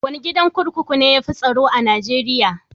Wane gidan kurkuku ne ya fi tsaro a Najeriya?